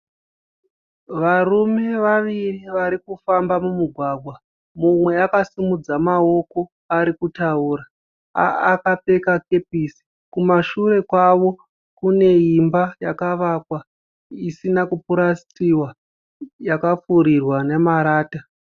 Varume vaviri vari kufamba mumugwagwa. Mumwe akasimudza maoko ari kutaura akapfeka kepesi. Kumashure kwavo kune imba yakavakwa isina kupurasitiwa yakapfurirwa nemarata.